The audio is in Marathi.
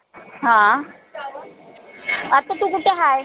हां आता तू कूट हाय?